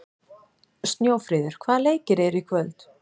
Snjófríður, hvaða leikir eru í kvöld?